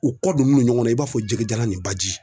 U kɔ donnen do ɲɔgɔn na i b'a fɔ jɛgɛjalan ni baji